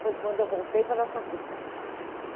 Foi quando eu voltei para Araçatuba.